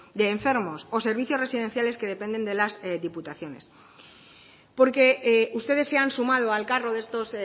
de enfermos o servicios residenciales que dependen de las diputaciones porque ustedes se han sumado al carro de estos